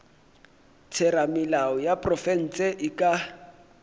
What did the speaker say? theramelao ya profense e ka